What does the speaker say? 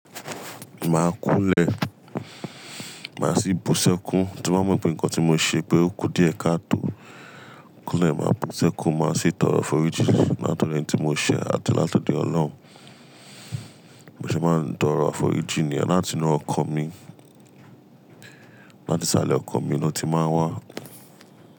Máa kúnle, màá sì bu sẹ́kún, tí mo bá mọ pẹ̀ nǹkan tí mo ṣe pé ó kú díẹ̀ káàtò. Kúnlè máa bu sẹ́kún, màá sì tọrọ àforíjì látọ̀do enití mo ṣẹ̀ àti látọ̀do ọlọ́run. Mo se máa ń tọrọ àforíjì niyen, láti inú ọkan mi. Láti salẹ ọkọ̀ mi ló ti máa ń wá.